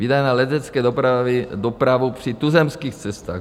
Výdaje na leteckou dopravu při tuzemských cestách.